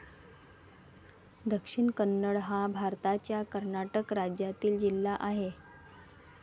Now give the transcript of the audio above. दक्षिण कन्नड हा भारताच्या कर्नाटक राज्यातील जिल्हा आहे.